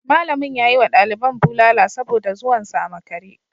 Malamin ya yi wa daliban bulala saboda zuwan su a makare